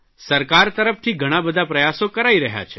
સરકાર તરફથી ઘણા બધા પ્રયાસો કરાઇ રહ્યા છે